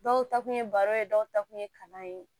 Dɔw ta kun ye baro ye dɔw ta kun ye kalan ye